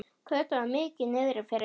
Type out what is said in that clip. Kötu var mikið niðri fyrir.